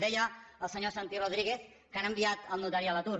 deia el senyor santi rodríguez que han enviat el notari a l’atur